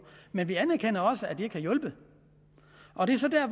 men vi anerkender også at de ikke har hjulpet og det er så dér